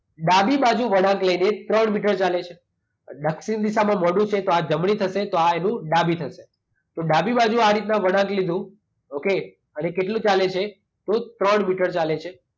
ડાબી બાજુ વળાંક લઈને એ ત્રણ મીટર ચાલે છે. દક્ષિણ દિશામાં મોંઢું છે તો આ જમણી થશે તો આ એનું ડાબી થશે. તો ડાબી બાજુ આ રીતના વળાંક લીધું. ઓકે? અને કેટલું ચાલે છે? તો ત્રણ મીટર ચાલે છે.